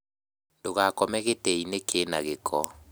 Ndũgakome gĩtĩ-inĩ kĩna gĩko